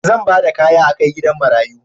Zan ba da kaya a kai gidan marayu.